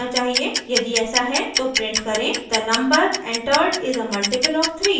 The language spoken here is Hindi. यदि ऐसा है तो प्रिंट करें the number entered is a multiple of 3